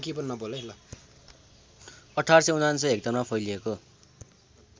१८९९ हेक्टरमा फैलिएको